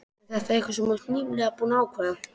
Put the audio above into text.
Er þetta eitthvað sem þú ert nýlega búinn að ákveða.